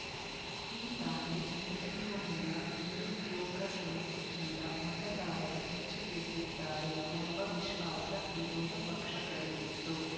ಈ ದಾಳಿ ನಡೆಯುವ ಮುನ್ನ ನಿರುದ್ಯೋಗ ಸಮಸ್ಯೆಯಿಂದ ಮತದಾರರು ರೊಚ್ಚಿಗೆದ್ದಿದ್ದಾರೆ ಎಂಬ ವಿಶ್ವಾಸ ವಿರೋಧ ಪಕ್ಷಗಳಿಗಿತ್ತು